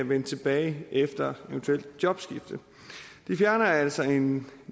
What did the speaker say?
vende tilbage efter eventuelt jobskifte det fjerner altså en